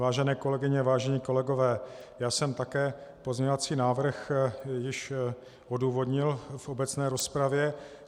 Vážené kolegyně, vážení kolegové, já jsem také pozměňovací návrh již odůvodnil v obecné rozpravě.